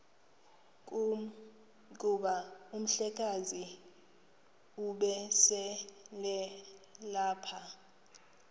kuba umhlekazi ubeselelapha